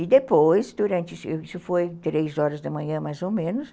E depois, durante... Isso foi três horas da manhã, mais ou menos.